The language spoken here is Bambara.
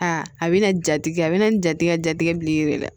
Aa a bɛna jatigi a bɛ na nin jatikɛ jatigɛ bileki la